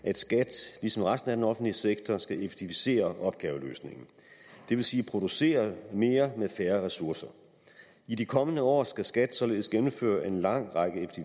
at skat ligesom resten af den offentlige sektor skal effektivisere opgaveløsningen det vil sige producere mere med færre ressourcer i de kommende år skal skat således gennemføre en lang række